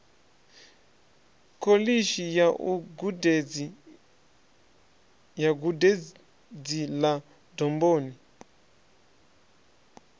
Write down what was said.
kholishi ya gudedzi ḽa domboni